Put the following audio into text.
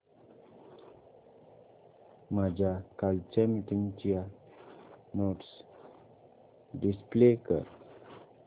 माझ्या कालच्या मीटिंगच्या नोट्स डिस्प्ले कर